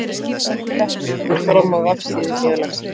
Þetta kemur fram á vefsíðu félagsins